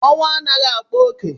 Ọnwụ anaghị akpa ókè